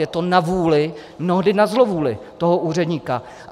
Je to na vůli, mnohdy na zlovůli toho úředníka.